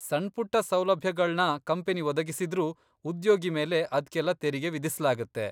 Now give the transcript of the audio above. ಸಣ್ಪುಟ್ಟ ಸೌಲಭ್ಯಗಳ್ನ ಕಂಪನಿ ಒದಗಿಸಿದ್ರೂ ಉದ್ಯೋಗಿ ಮೇಲೆ ಅದ್ಕೆಲ್ಲ ತೆರಿಗೆ ವಿಧಿಸ್ಲಾಗತ್ತೆ.